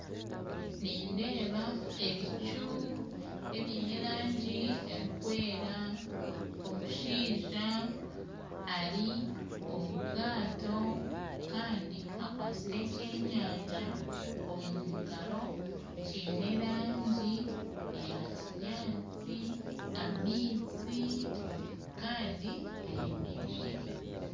Nindeeba ebicu ebine erangi erikwera omushaija ari omu bwato akwasire eky'enyanja omu ngaaro kiine erangi eya kinyatsi amaizi kandi ayemerire